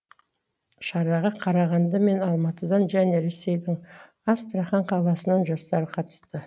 шараға қарағанды мен алматыдан және ресейдің астрахан қаласының жастары қатысты